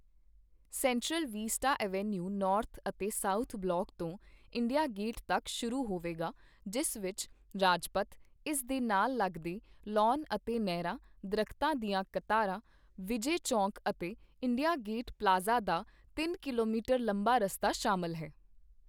Central vista avenue north ਅਤੇ south block ਤੋਂ India gate ਤੱਕ ਸ਼ੁਰੂ ਹੋਵੇਗਾ ਜਿਸ ਵਿਚ ਰਾਜਪਥ, ਇਸ ਦੇ ਨਾਲ ਲਗਦੇ ਲਾੱਨ ਅਤੇ ਨਹਿਰਾਂ, ਦਰਖਤਾਂ ਦੀਆਂ ਕਤਾਰਾਂ, ਵਿਜੇ ਚੌਕ ਅਤੇ ਇੰਡੀਆ ਗੇਟ ਪਲਾਜ਼ਾ ਦਾ ਤਿੰਨ ਕਿਲੋਮੀਟਰ ਲੰਬਾ ਰਸਤਾ ਸ਼ਾਮਿਲ ਹੈ।